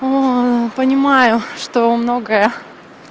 понимаю что многое